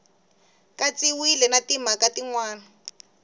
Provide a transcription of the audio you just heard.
katsiwile na timhaka tin wana